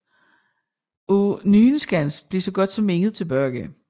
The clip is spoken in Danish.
Af Nyenskans blev så godt som intet tilbage